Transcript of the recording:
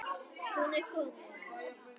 Hún er komin